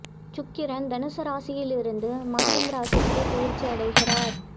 சுக்கிரன் தனுசு ராசியில் இருந்து மகரம் ராசிக்கு பெயர்ச்சி அடைகிறார்